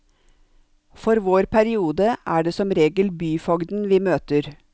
For vår periode er det som regel byfogden vi møter.